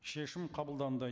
шешім қабылданды